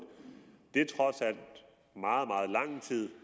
det er trods alt meget meget lang tid